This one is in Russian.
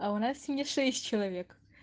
а у нас не шесть человек